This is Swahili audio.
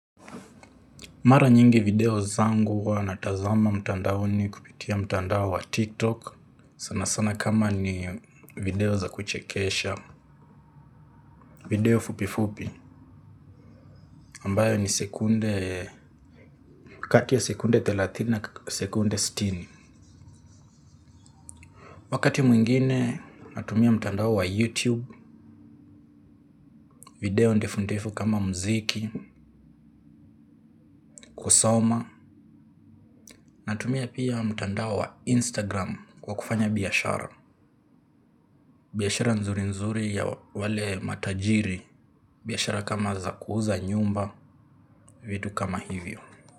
Mara nyingi video zangu huwa natazama mtandaoni kupitia mtandao wa tiktok sana sana kama ni video za kuchekesha. Video fupi fupi ambayo ni sekunde kati ya sekunde thelathini na sekunde sitini. Wakati mwingine natumia mtandao wa youtube video ndefu ndefu kama muziki kusoma. Natumia pia mtandao wa instagram kwa kufanya biashara biashara nzuri nzuri ya wale matajiri. Biashara kama za kuuza nyumba vitu kama hivyo.